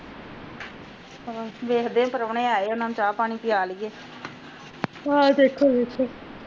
ਬਸ ਵਧੀਆ ਵੇਖਦੇ ਆ ਪਰੌਣੇ ਆਏ ਆ ਚਾਹ ਪਾਣੀ ਪਿਆ ਲਈਏ ਹਮ ਵੱਖੋ ਵੱਖੋ